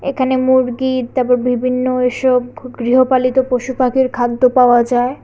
এখানে মুরগির তারপর বিভিন্ন এসব গৃহপালিত পশু পাখির খাদ্য পাওয়া যায়।